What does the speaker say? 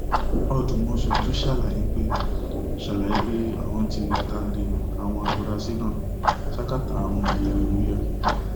ọdùmọṣù tún ṣàlàyé pé ṣàlàyé pé àwọn tí taari àwọn afurasí náà ṣákátá àwọn ọtẹlẹmúyẹ